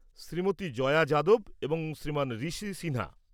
শ্রীমতী জয়া যাদব এবং শ্রীমান ঋষি সিনহা।